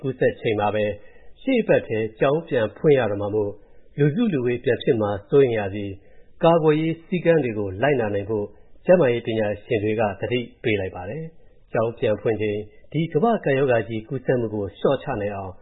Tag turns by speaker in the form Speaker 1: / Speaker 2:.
Speaker 1: ကူးစက်နေချိန်မှာပဲ ရှေ့အပတ်ထဲမှာ မြန်မာနိုင်ငံက ကျောင်းတွေပြန်ဖွင့်ရတော့မှာမို့၊ လူစုလူဝေးပြန်ဖြစ်မှာ စိုးရိမ်ရပြီး၊ ကာကွယ်ရေးစည်းကမ်းတွေ လိုက်နာနိုင်ဖို့၊ ကျန်းမာရေးပညာရှင်တွေက သတိပေးလိုက်ပါတယ်။ ကျောင်းပြန်ဖွင့်ချိန် ကမ္ဘာ့ကပ်ရောဂါကြီး ကူးစက်မူကို လျော့
Speaker 2: ချနိုင်အောင်